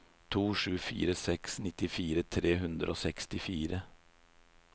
to sju fire seks nittifire tre hundre og sekstifire